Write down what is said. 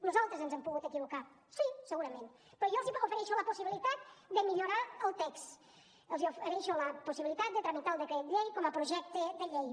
nosaltres ens hem pogut equivocar sí segurament però jo els ofereixo la possibilitat de millorar el text els ofereixo la possibilitat de tramitar el decret llei com a projecte de llei